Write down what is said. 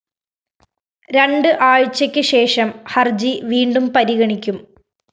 രണ്ട് ആഴ്ചക്ക് ശേഷം ഹര്‍ജി വീണ്ടും പരിഗണിക്കും